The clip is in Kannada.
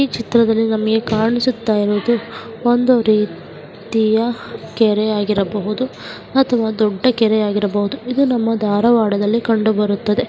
ಈ ಚಿತ್ರದಲ್ಲಿ ನಮಗೆ ಕಾಣಿಸುತ್ತಿರುವುದು ಒಂದು ರೀತಿಯ ಕೆರೆ ಆಗಿರಬಹುದು ಅಥವಾ ದೊಡ್ಡ ಕೆರೆ ಆಗಿರಬಹುದು. ಇದು ನಮ್ಮ ಧಾರವಾಡದಲ್ಲಿ ಕಂಡುಬರುತ್ತದೆ.